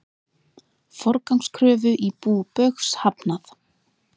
Forgangskröfu í bú Baugs hafnað